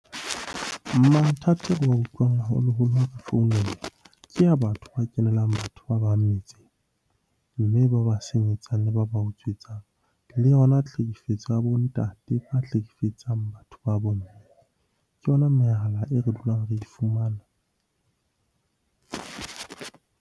Mathata ao re wa utlwang haholoholo founela, ke ya batho ba kenelang batho ba bang metseng. Mme ba ba senyetsang, le ba ba utswitseng. Le yona tlhekefetso ya bo ntate ba hlekefetsang batho ba bo mme. Ke yona mehala e re dulang re e fumana.